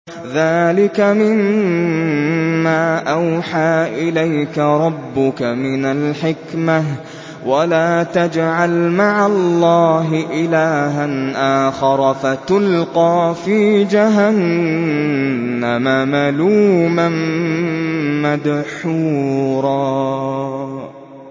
ذَٰلِكَ مِمَّا أَوْحَىٰ إِلَيْكَ رَبُّكَ مِنَ الْحِكْمَةِ ۗ وَلَا تَجْعَلْ مَعَ اللَّهِ إِلَٰهًا آخَرَ فَتُلْقَىٰ فِي جَهَنَّمَ مَلُومًا مَّدْحُورًا